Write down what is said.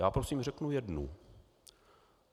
Já prosím řeknu jednu.